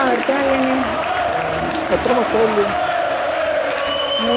ഞാനിപ്പോ കാര്യായിട്ടൊന്നുവില്ല. ഞാന് പ്ലസ് ടു കഴിഞ്ഞട്ടെന്തെങ്കിലും കോഴ്സ് എടുത്ത് പഠിക്കണംന്ന് വിചാരിക്ക്ന്ന്.